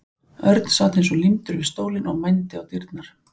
Örn sat eins og límdur við stólinn og mændi á dyrnar.